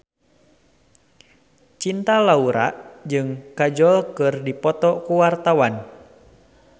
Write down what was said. Cinta Laura jeung Kajol keur dipoto ku wartawan